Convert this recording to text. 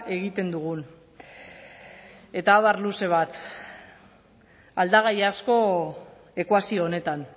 egiten dugun eta abar luze bat aldagai asko ekuazio honetan